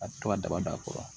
A bɛ to ka daba da a kɔrɔ